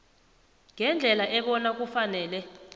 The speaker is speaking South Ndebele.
ngendlela ebona kufanele